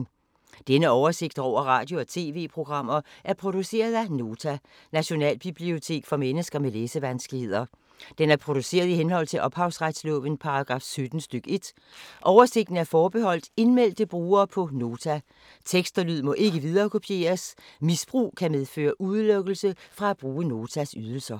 Denne oversigt over radio og TV-programmer er produceret af Nota, Nationalbibliotek for mennesker med læsevanskeligheder. Den er produceret i henhold til ophavsretslovens paragraf 17 stk. 1. Oversigten er forbeholdt indmeldte brugere på Nota. Tekst og lyd må ikke viderekopieres. Misbrug kan medføre udelukkelse fra at bruge Notas ydelser.